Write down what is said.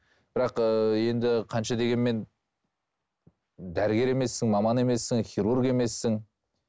бірақ ыыы енді қанша дегенмен дәрігер емессің маман емессің хирург емессің